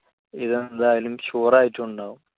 എന്തായാലും sure ആയിട്ടുമുണ്ടാകും.